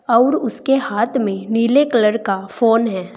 अउर उसके हाथ में नीले कलर का फोन है।